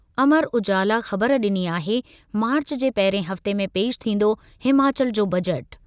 अमर उजाला ख़बर डि॒नी आहे, मार्च जे पहिरिएं हफ़्ते में पेश थींदो हिमाचल जो बजट।